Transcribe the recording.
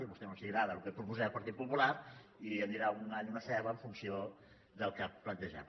a vostès no els agrada el que proposem el partit popular i em dirà un all o una ceba en funció del que plantegem